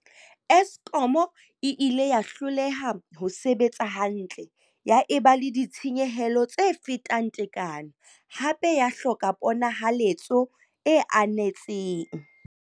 Eskom e ile ya hloleha ho sebetsa hantle, ya eba le ditshenyehelo tse fetang tekano, hape ya hloka ponahaletso e anetseng.